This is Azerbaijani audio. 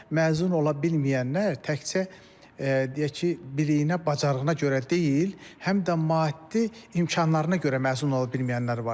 Bizdə məzun ola bilməyənlər təkcə deyək ki, biliyinə, bacarığına görə deyil, həm də maddi imkanlarına görə məzun ola bilməyənlər var.